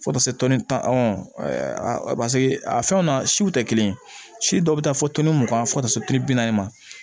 Fo ka taa se a fɛnw na siw tɛ kelen si dɔw bɛ taa fɔ mugan fo ka taa se bi naani ma